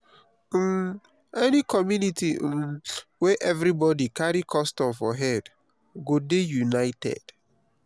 um any community um where everybodi carry custom for head go dey united.